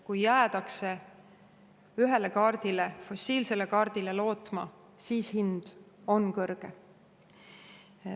Kui jäädakse ühele, fossiilsele lootma, siis hind on kõrge.